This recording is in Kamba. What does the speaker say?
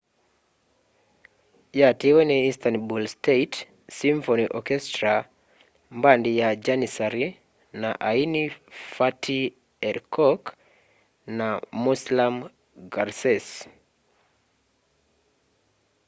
yatiiwe ni istanbul state symphony orchestra mbandi ya jannissary na aini fatih erkoḉ na müslüm gürses